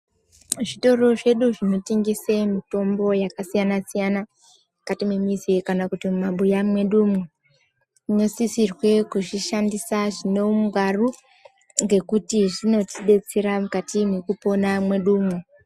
Zvitoro zvedu zvinotengese mitombo yakasiyana-siyana, mukati memizi kana kuti mumabuya mwedumwo. Inosisire kuzvishandisa zvinoungwaru ngekuti zvinotibetsera mukati mwekupona mwedumwo.